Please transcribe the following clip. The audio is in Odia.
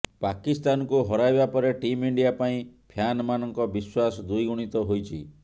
ପାକିସ୍ତାନକୁ ହରାଇବା ପରେ ଟିମ୍ ଇଣ୍ଡିଆ ପାଇଁ ଫ୍ୟାନମାନଙ୍କ ବିଶ୍ୱାସ ଦୁଇଗୁଣିତ ହୋଇଛି